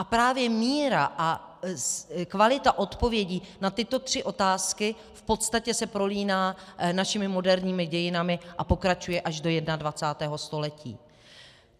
A právě míra a kvalita odpovědí na tyto tři otázky v podstatě se prolíná našimi moderními dějinami a pokračuje až do 21. století.